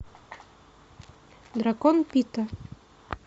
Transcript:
дракон пита